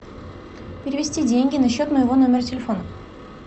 перевести деньги на счет моего номера телефона